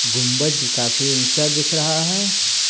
गुंबज काफी ऊंचा दिख रहा है।